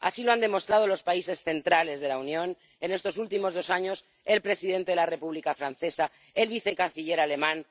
Así lo han demostrado los países centrales de la Unión en estos últimos dos años el presidente de la República francesa, el vicecanciller alemán...